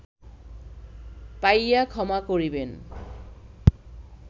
পাইয়া ক্ষমা করিবেন